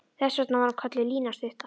Þess vegna var hún kölluð Lína stutta.